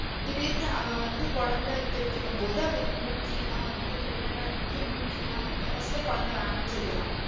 திடிர்னு அவ வந்திட்டு கொழந்தை பெத்துக்கம் போது அவளுக்கு மூஞ்சிலாம் வந்திடு pregnant ஆ இருக்கும் போது மூஞ்சிலாம் வந்து first ஏ கொழந்தை வேணாம்னு சொல்லுவா